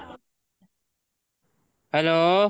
hello